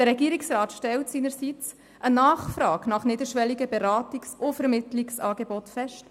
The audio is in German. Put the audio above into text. Der Regierungsrat stellt seinerseits eine Nachfrage nach niederschwelligen Beratungs- und Vermittlungsangeboten fest.